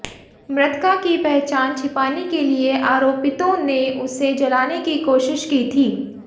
मृतका की पहचान छिपाने के लिए आरोपितों ने उसे जलाने की कोशिश की थी